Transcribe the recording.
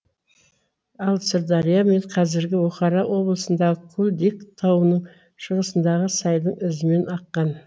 ал сырдария мен қазіргі бұхара облысындағы кулдик тауының шығысындағы сайдың ізімен аққан